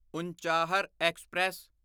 Unchahar express